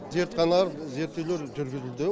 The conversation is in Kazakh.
зертхана зерттеулер жүргізілді